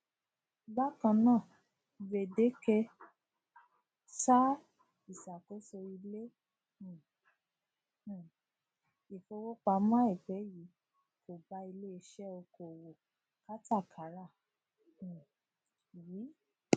bakan naa gbedeke saa iṣakoso ile um um ifowopamọ aipẹ yii ko ba ileiṣẹ okoowo katakara um wi